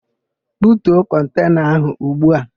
Butuo kọntena áhụ̀ ugbu a!